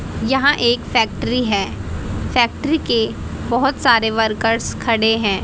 यहां एक फैक्ट्री है फैक्ट्री के बहोत सारे वर्कर्स खड़े हैं।